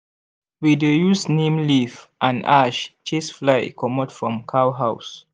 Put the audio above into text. we dey use neem leaf and ash chase fly comot from cow house.